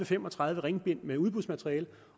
fem og tredive ringbind med udbudsmateriale